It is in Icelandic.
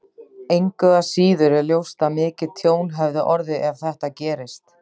Engu að síður er ljóst að mikið tjón hefði orðið ef þetta gerist.